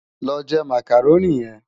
Lò jè Mákároni yèn